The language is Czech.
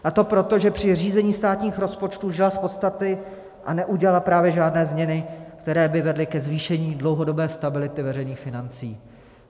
A to proto, že při řízení státních rozpočtů žila z podstaty a neudělala právě žádné změny, které by vedly ke zvýšení dlouhodobé stability veřejných financí.